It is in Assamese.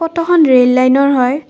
ফটোখন ৰেল লাইনৰ হয়।